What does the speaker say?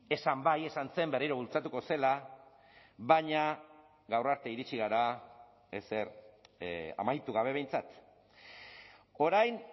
esan bai esan zen berriro bultzatuko zela baina gaur arte iritsi gara ezer amaitu gabe behintzat orain